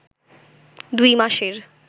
দুই মাসের